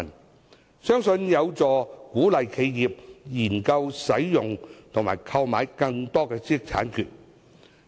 這樣一來，相信有助鼓勵企業研究使用和購買更多的知識產權。